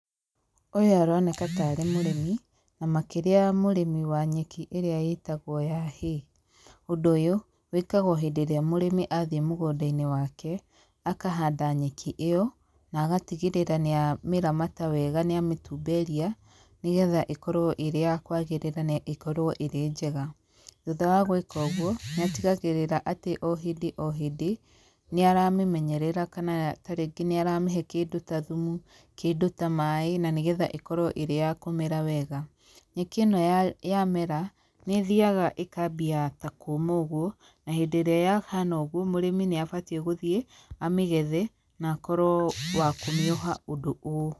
Ũyũ aroneka tarĩ mũrĩmi, na makĩria mũrĩmi wa nyeki ĩrĩa ĩtagwo ya hay. Ũndũ ũyũ, wĩkagwo hĩndĩ ĩrĩa mũrĩmi athiĩ mũgũnda-inĩ wake, akahanda nyeki ĩyo, na agatigĩrĩra nĩ amĩramata wega nĩ amĩtumberia nĩgetha ĩkorwo ĩrĩ ya kwagĩrĩra na ĩkorwo ĩrĩ njega. Thutha wa gwĩka ũguo, nĩ atigagĩrĩra atĩ o hĩndĩ o hĩndĩ nĩaramĩmenyerera kana tarĩngĩ nĩ aramĩhe kĩndũ ta thumu, kĩndũ ta maaĩ na nĩgetha ĩkorwo ĩrĩ ya kũmera wega. Nyeki ĩno yamera, nĩ ĩthiaga ĩkaambia ta kũũma ũguo, na hĩndĩ ĩrĩa yahana ũgũo, mũrĩmi nĩ abatiĩ gũthiĩ amĩgethe, na akorwo wa kũmĩoha ũndũ ũũ.